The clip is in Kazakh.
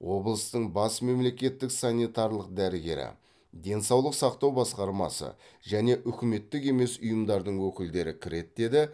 облыстың бас мемлекеттік санитарлық дәрігері денсаулық сақтау басқармасы және үкіметтік емес ұйымдардың өкілдері кіреді деді